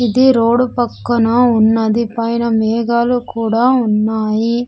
ఇది రోడు పక్కన ఉన్నది పైన మేఘాలు కూడా ఉన్నాయి.